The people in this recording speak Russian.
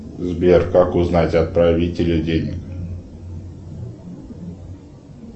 сбер как узнать отправителя денег